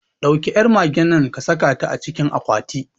Ɗauki yar magennan kasaka ta acikin akwati